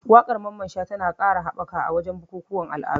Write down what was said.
Wakar Mamman Shata na Hausa na ƙara haɓaka a wajen bukukuwan al'adu.